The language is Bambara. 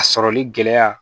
A sɔrɔli gɛlɛya